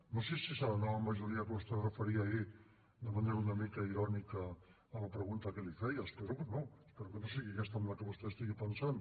no sé si serà la nova majoria a què vostè es referia ahir de manera una mica irònica a la pregunta que li feia espero que no espero que no sigui aquesta en què vostè estigui pensant